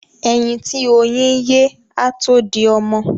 Ẹyin tí oyín ye á tó di ọmọ.